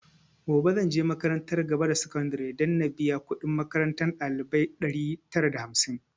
Gobe zanje makarantar gaba da sakandare na biya kudin makarantar ɗalibai ɗari tara da hamsin